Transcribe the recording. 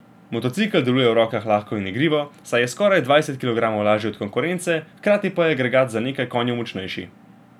Motocikel deluje v rokah lahko in igrivo, saj je za skoraj dvajset kilogramov lažji od konkurence, hkrati pa je agregat za nekaj konjev močnejši.